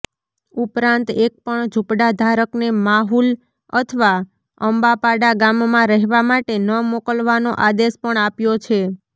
ઉપરાંત એકપણ ઝૂંપડાધારકને માહુલ અથવા અંબાપાડા ગામમાં રહેવા માટે ન મોકલવાનો આદેશ પણ આપ્યો છે